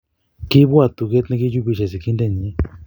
kiipwat tuget nekichupishei sikindenyi